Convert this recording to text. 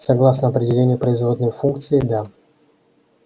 согласно определению производной функции да